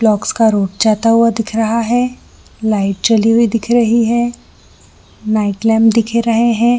Blocks का road जाता हुआ दिख रहा है लाइट जली हुई दिख रही है नाईट लैंप दिख रहे हैं।